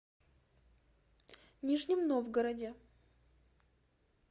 нижнем новгороде